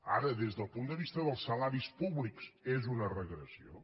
ara des del punt de vista dels salaris públics és una regressió